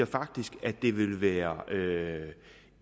faktisk ville være